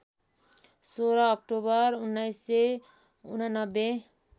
१६ October १९८९